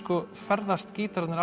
ferðast gítararnir